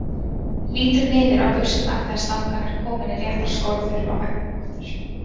Lítur niður á buxurnar þegar slangan er komin í réttar skorður á veggnum aftur.